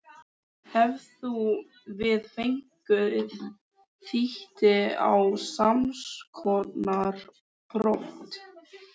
Hefðum við fengið víti á samskonar brot?